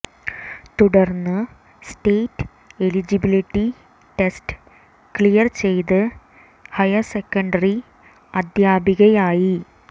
തുടര്ന്ന് state eligibility test clear ചെയ്ത് higher secondary അധ്യാപികയായി